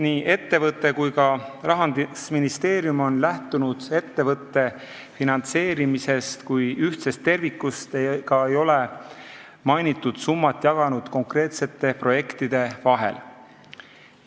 " Nii ettevõte kui ka Rahandusministeerium on lähtunud ettevõtte finantseerimisest kui ühtsest tervikust ega ole mainitud summat jaganud konkreetsete projektide vahel.